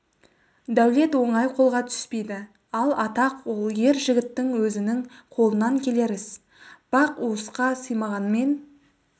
дәулет оңай қолға түспейді ал атақ ол ер жігіттің өзінің қолынан келер іс бақ уысқа сыймағанмен